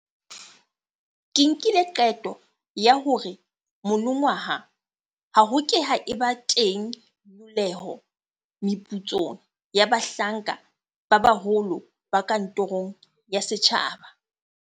Ke nkile qeto ya hore monongwaha ho ke ke ha eba teng nyollelo meputsong ya bahlanka ba baholo ba kantorong ya setjhaba.